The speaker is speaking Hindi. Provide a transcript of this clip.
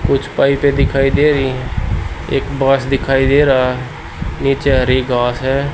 कुछ पाइपें दिखाई दे रही हैं एक बांस दिखाई दे रहा है नीचे हरी घांस है।